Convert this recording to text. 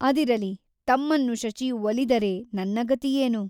ಅದಿರಲಿ ತಮ್ಮನ್ನು ಶಚಿಯು ಒಲಿದರೆ ನನ್ನ ಗತಿಯೆನು ?